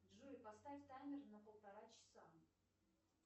джой поставь таймер на полтора часа